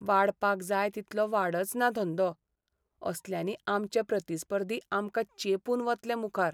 वाडपाक जाय तितलो वाडचना धंदो. असल्यांनी आमचे प्रतिस्पर्धी आमकां चेंपून वतले मुखार.